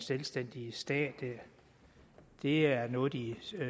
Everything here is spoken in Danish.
selvstændig stat det er noget de